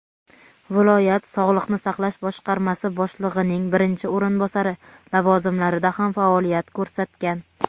viloyat sog‘liqni saqlash boshqarmasi boshlig‘ining birinchi o‘rinbosari lavozimlarida ham faoliyat ko‘rsatgan.